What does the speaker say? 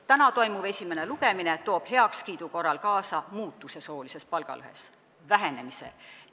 Täna toimuv esimene lugemine aitab eelnõu heakskiitmise korral kaasa soolise palgalõhe muutusele, selle vähenemisele.